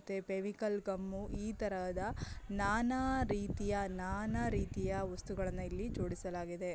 Fevicol gum ಈ ತರಹದ ನಾನಾ ರೀತಿಯ ನಾನಾ ರೀತಿಯ ವಸ್ತುಗಳನ್ನು ಇಲ್ಲಿ ಜೋಡಿಸಲಾಗಿದೆ.